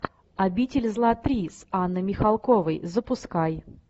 обитель зла три с анной михалковой запускай